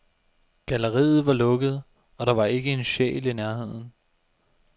Galleriet var lukket, og der var ikke en sjæl i nærheden.